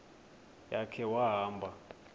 ya khe wahamba